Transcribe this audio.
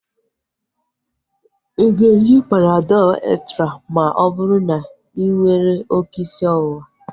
Ịga eji Panadọl extra ma ọ bụrụ na inwere oké isi ọwụwa